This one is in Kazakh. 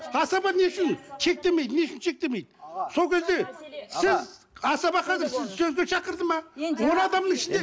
асаба не үшін шектемейді не үшін шектемейді сол кезде сіз асаба қазір шақырды ма он адамның ішінде